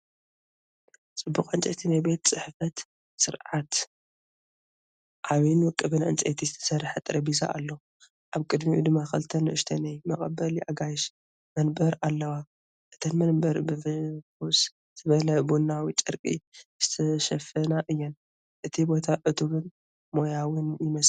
ጽቡቕ ዕንጨይቲ ናይ ቤት ጽሕፈት ስርዓት። ዓቢን ውቁብን ዕንጨይቲ ዝተሰርሐ ጠረጴዛ ኣሎ። ኣብ ቅድሚኡ ድማ ክልተ ንኣሽቱ ናይ መቐበሊ ኣጋይሽ መንበር ኣለዋ። እተን መንበር ብፍኹስ ዝበለ ቡናዊ ጨርቂ ዝተሸፈና እየን። እቲ ቦታ ዕቱብን ሞያውን ይመስል!